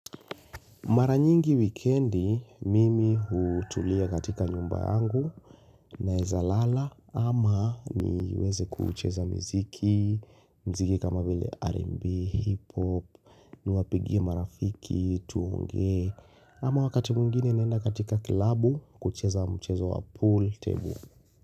Mara nyingi wikendi mimi hutulia katika nyumba yangu. Naeza lala ama niweze kucheza miziki, muziki kama vile R&B, Hip Hop, niwapigie marafiki, tuongeee, ama wakati mwingine naenda katika klabu kucheza mchezo wa pool table.